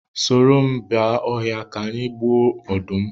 Soro m ba ọhịa ka anyị ga gbuo ọdụm